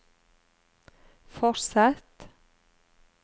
fortsett